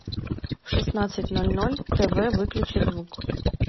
в шестнадцать ноль ноль тв выключи звук